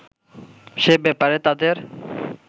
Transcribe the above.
সে ব্যাপারে তাদের